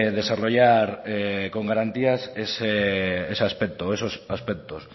desarrollar con garantías ese aspecto esos aspectos